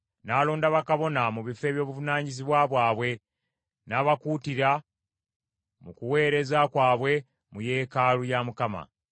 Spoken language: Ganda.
N’alonda bakabona mu bifo eby’obuvunaanyizibwa bwabwe, n’abakuutira mu kuweereza kwabwe mu yeekaalu ya Mukama .